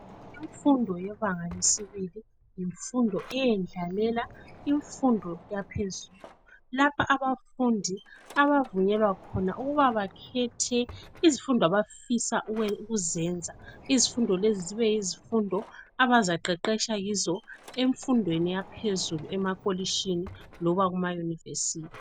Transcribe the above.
Imfundo yebanga lesibili yimfundo eyendlalela imfundo eyaphezulu lapho abafundi abavunyelwa khona ukuba bakhethe izifundo abafisa ukuzenza. Izifundo lezi zibe yizifundo abazaqeqesha kizo emfundweni yaphezulu emakolitshini loba emayunivesithi.